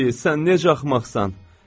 Bibi, sən necə axmaqsan!